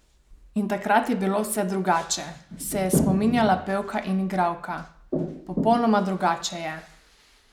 In takrat je bilo vse drugače, se je spominjala pevka in igralka: "Popolnoma drugače je.